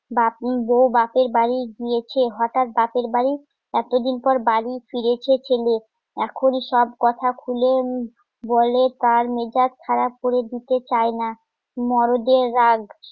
বাপন বৌ বাপের বাড়ি গিয়েছে হঠাৎ বাপের বাড়ি এতদিন পর বাড়ি ফিরেছে ছেলে এখনই সব কথা খুলে বলে তার মেজাজ খারাপ করে দিতে চায় না মরদের রাগ